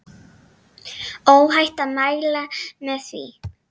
Óhætt að mæla með því.